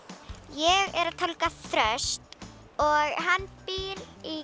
ég er að tálga þröst og hann býr í